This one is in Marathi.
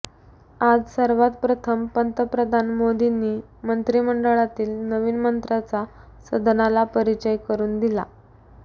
आज सर्वात प्रथम पंतप्रधान मोदींनी मंत्री मंडळातील नवीन मंत्र्यांचा सदनाला परिचय करून दिला